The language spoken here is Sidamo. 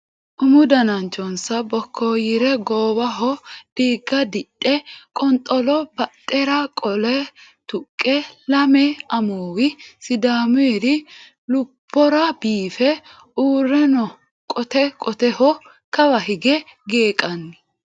Umu dananchonsa bokkoyire goowaho diiga didhe qonxolo badhera qolle tuqqe lame amuwi sidaamuri lubbora biife uurre no qote qoteho kawa higge geeqanni.